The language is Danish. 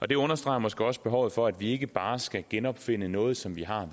det understreger måske også behovet for at vi ikke bare skal genopfinde noget som vi har